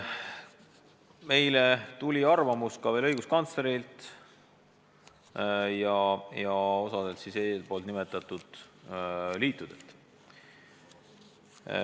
Saime ka arvamuse õiguskantslerilt ja osalt eespool nimetatud liitudelt.